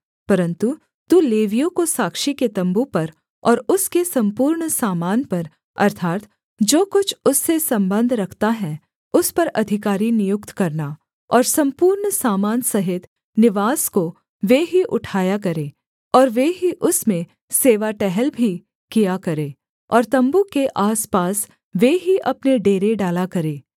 परन्तु तू लेवियों को साक्षी के तम्बू पर और उसके सम्पूर्ण सामान पर अर्थात् जो कुछ उससे सम्बंध रखता है उस पर अधिकारी नियुक्त करना और सम्पूर्ण सामान सहित निवास को वे ही उठाया करें और वे ही उसमें सेवा टहल भी किया करें और तम्बू के आसपास वे ही अपने डेरे डाला करें